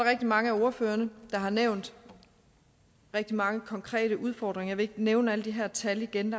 rigtig mange af ordførerne der har nævnt rigtig mange konkrete udfordringer vil ikke nævne alle de her tal igen